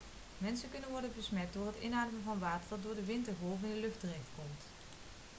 mensen kunnen worden besmet door het inademen van water dat door de wind en golven in de lucht terechtkomt